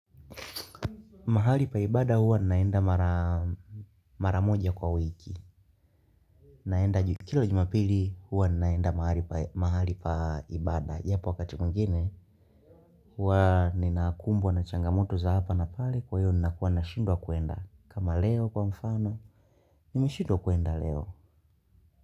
Mahali pa ibada huwa ninaenda mara, maramoja kwa wiki naenda, kila jumapili huwa ninaenda mahali kwa ibada ila kwa wakati mwingine. Huwa ninakumbwa na changamoto za hapa na pale kwa hiyo ninakuwa nashindwa kuenda. Kama leo kwa mfano nimeshindwa kuenda leo.